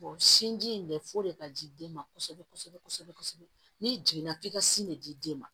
sinji in de fo de ka ji den ma kosɛbɛ kosɛbɛ kosɛbɛ n'i jiginna k'i ka sin ne di den ma